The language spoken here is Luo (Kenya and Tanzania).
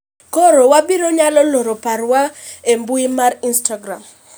koro wabiro nyalo loro paro wa e mbui mar instagram